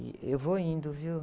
E eu vou indo, viu?